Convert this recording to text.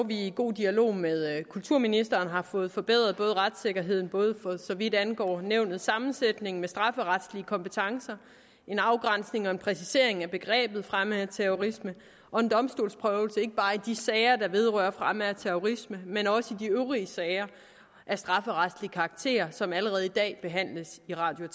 i god dialog med kulturministeren har fået forbedret retssikkerheden både for så vidt angår nævnets sammensætning med strafferetlige kompetencer en afgrænsning og en præcisering af begrebet fremme af terrorisme og en domstolsprøvelse ikke bare i de sager der vedrører fremme af terrorisme men også i de øvrige sager af strafferetlig karakter som allerede i dag behandles i radio